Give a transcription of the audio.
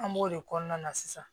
An b'o de kɔnɔna na sisan